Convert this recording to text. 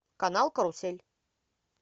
канал карусель